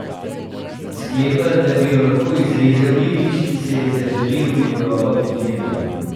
Sklepa, da bi jo lahko izrezal ribič, ki si je zaželel ribolova pod ledom.